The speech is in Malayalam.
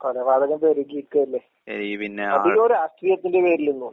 കൊലപാതകം പെരുകി നിക്കുവല്ലേ? അധികോം രാഷ്ട്രീയത്തിന്റെ പേരില് .